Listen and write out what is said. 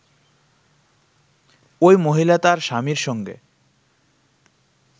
ওই মহিলা তাঁর স্বামীর সঙ্গে